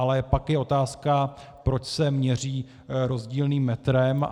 Ale pak je otázka, proč se měří rozdílným metrem.